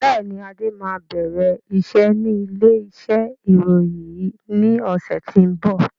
Bẹ́ẹ̀ni, Adé máa bẹ̀rẹ̀ iṣẹ́ ni ilé iṣẹ́ ìròyìn yìí ni ọ̀sẹ̀ tó ń bọ̀.